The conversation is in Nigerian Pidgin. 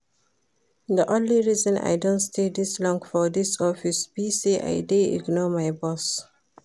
The only reason I don stay dis long for dis office be say I dey ignore my boss